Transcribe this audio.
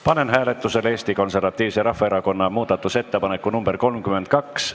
Panen hääletusele Eesti Konservatiivse Rahvaerakonna muudatusettepaneku nr 32.